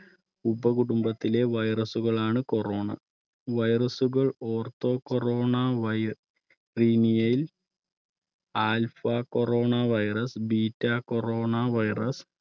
ഉപകുടുംബത്തിലെ virus ളാണ് corona. virus കൾ ortho corona virinae ൽ alpha corona virus, beta corona virus